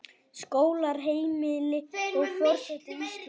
Skólar, heimili, og forseti Íslands.